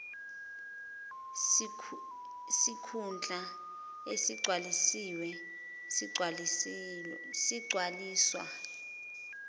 sikhundla esigcwalisiwe sigcwaliswa